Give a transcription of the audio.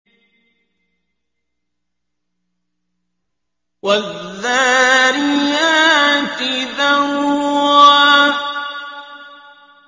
وَالذَّارِيَاتِ ذَرْوًا